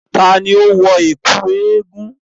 Ta ni ó ń wọ ẹ̀kú eégun?